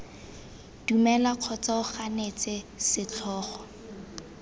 dumela kgotsa o ganetse setlhogo